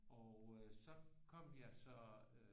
Og øh så kom jeg så øh